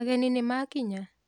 Ageni nĩmakinya?